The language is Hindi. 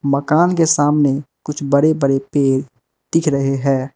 मकान के सामने कुछ बड़े बड़े पेड़ दिख रहे हैं।